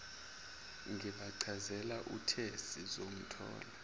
ngibachazela uthe sizomthola